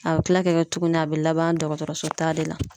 A be kila ka kɛ tuguni a be laban dɔgɔtɔrɔso la taa de la.